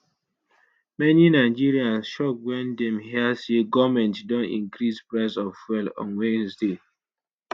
many nigerians shock wen dem hear say goment don increase price of fuel on wednesday